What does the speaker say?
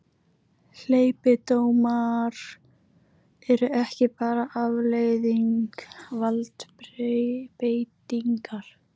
Hleypidómar eru ekki bara afleiðing valdbeitingar.